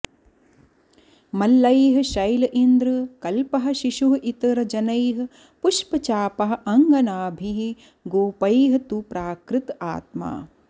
मल्लैः शैल इन्द्र कल्पः शिशुः इतर जनैः पुष्पचापः अङ्गनाभिः गोपैः तु प्राकृत आत्मा